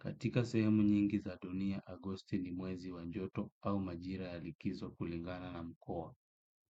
Katika sehemu nyingi za dunia, Agosti ni mwezi wa joto au majira ya likizo kulingana na mkoa.